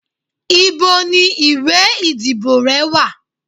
ibò ni ìwè ìdíbò re wa?